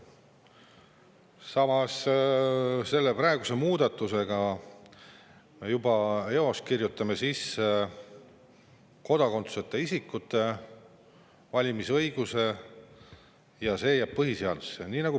Samas, selle praeguse muudatusega me juba eos kirjutame põhiseadusesse sisse kodakondsuseta isikute valimisõiguse, ja see jääb sinna.